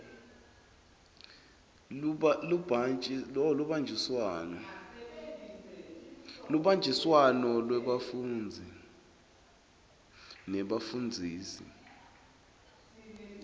lubanjiswano lwebafundzi nebafundzisi